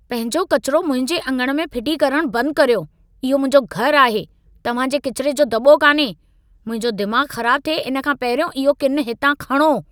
पंहिंजो कचिरो मुंहिंजे अङण में फिटी करणु बंदि करियो। इहो मुंहिंजो घरु आहे, तव्हां जे कचिरे जो दॿो कान्हे। मुंहिंजो दिमाग़ ख़राब थिए इन खां पहिरियों इहो किन हितां खणो।